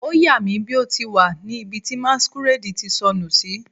O ya mi bi o ti wa ni ibi ti masquerade ti sọnu si